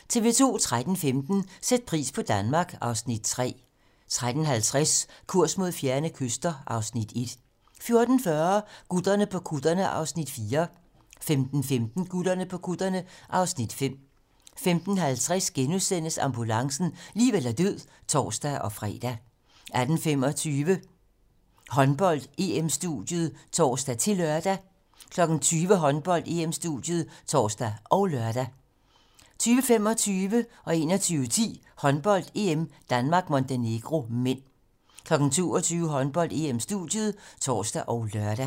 13:15: Sæt pris på Danmark (Afs. 3) 13:50: Kurs mod fjerne kyster (Afs. 1) 14:40: Gutterne på kutterne (Afs. 4) 15:15: Gutterne på kutterne (Afs. 5) 15:50: Ambulancen - liv eller død *(tor-fre) 18:25: Håndbold: EM-studiet (tor-lør) 20:00: Håndbold: EM-studiet (tor og lør) 20:25: Håndbold: EM - Danmark-Montenegro (m) 21:10: Håndbold: EM - Danmark-Montenegro (m) 22:00: Håndbold: EM-studiet (tor og lør)